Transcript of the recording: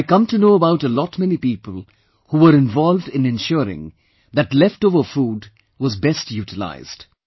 I come to know about a lot many people who were involved in ensuring that leftover food was best utilized